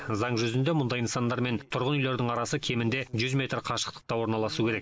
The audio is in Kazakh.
заң жүзінде мұндай нысандар мен тұрғын үйлердің арасы кемінде жүз метр қашықтықта орналасу керек